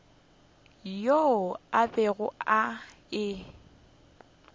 yeo a bego a e